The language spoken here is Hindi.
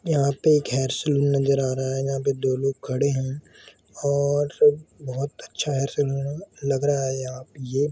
यहाँ पे एक हेयर सलून नज़र आ रहा यहाँ पे दो लोग खड़े है और बहुत अच्छा हेयर सलून लग रहा है यहाँ पे ये ।